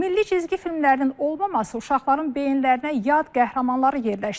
Milli cizgi filmlərinin olmaması uşaqların beyinlərinə yad qəhrəmanları yerləşdirir.